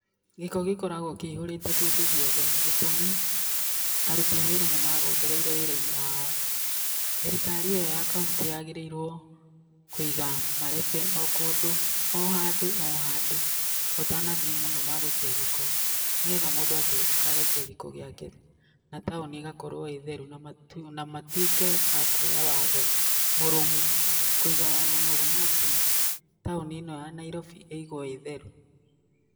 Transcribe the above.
Gĩko gĩkoragwo kĩihũrĩte kũndũ gũothe, gĩtumi arũti a wĩra nĩ magondereire wĩra-inĩ wao. Thirikari iyo ya kauntĩ yagĩrĩirwo kũiga marebe, okũndũ ohandũ ohandũ, ũtanathíiĩ mũno magũikia gĩko nĩgetha mũndũ akihitũka agaikia gĩko giake, na taũni igakorwo ĩtherũ na matũ matũĩke a kũoya watho mũrũmũ. Kũiga watho mũrũmũ atĩ taũni ĩno ya Nairobi ĩigũo ĩtherũ.